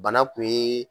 Bana kun ye